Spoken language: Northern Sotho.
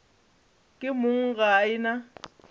ke mong ga e na